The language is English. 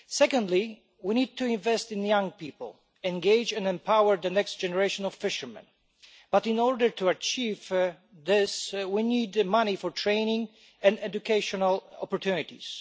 Secondly, we need to invest in young people, engage and empower the next generation of fishermen, but in order to achieve this, we need money for training and educational opportunities.